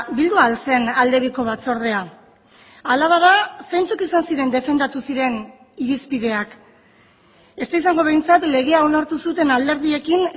bildu al zen aldebiko batzordea hala bada zeintzuk izan ziren defendatu ziren irizpideak ez da izango behintzat legea onartu zuten alderdiekin